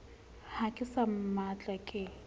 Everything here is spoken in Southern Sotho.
ha ke sa mmatla ke